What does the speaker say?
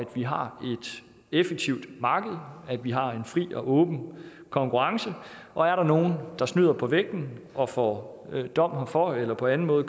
vi har et effektivt marked at vi har en fri og åben konkurrence og er der nogen der snyder på vægten og får dom herfor eller på anden måde